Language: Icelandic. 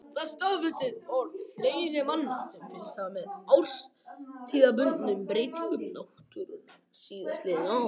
Það staðfestir orð fleiri manna sem fylgst hafa með árstíðabundnum breytingum náttúrunnar síðastliðin ár.